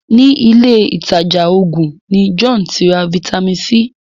ní Ilé ìtajà oògùn ní John tí ra Vitamin C.